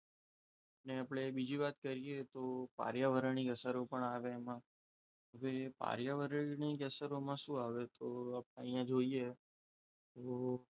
ને આપણે બીજી વાત કરીએ તો પર્યાવરણીય અસરો પણ આવે એમાં જોઈએ પર્યાવરણીય અસરોમાં શું આવે તો તો અહીંયા જોઈએ તો,